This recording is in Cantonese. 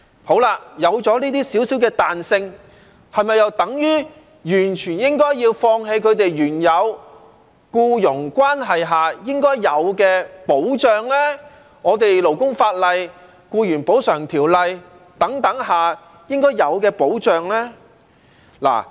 好了，有了這些少少的彈性，是否又等於完全應該要放棄他們在原有僱傭關係中應該有的保障，以及我們勞工法例、《僱員補償條例》等法例下應該有的保障呢？